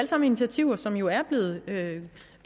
sammen initiativer som jo er